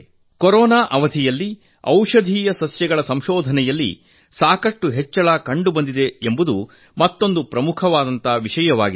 corona ಅವಧಿಯಲ್ಲಿ ಔಷಧೀಯ ಗಿಡಮೂಲಿಕೆಗಳ ಸಂಶೋಧನೆಯಲ್ಲಿ ಸಾಕಷ್ಟು ಹೆಚ್ಚಳವಾಗಿದೆ ಎಂಬುದು ಮತ್ತೊಂದು ಪ್ರಮುಖ ಸಂಗತಿಯಾಗಿದೆ